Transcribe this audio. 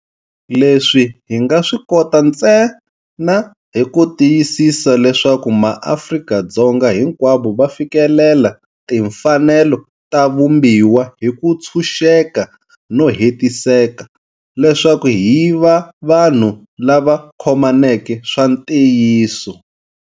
Leswi hi nga swi kota ntsena hi ku tiyisisa leswaku maAfrika-Dzonga hinkwavo va fikelela timfanelo ta Vumbiwa hi ku tshuxeka no hetiseka, leswaku hi va vanhu lava khomaneke swa ntiyiso.